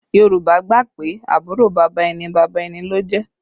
Yorùbá gbà pé àbúrò bàbá ẹni, bàbá ẹni ló jẹ́